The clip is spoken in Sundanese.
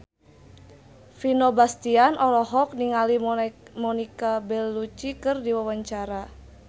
Vino Bastian olohok ningali Monica Belluci keur diwawancara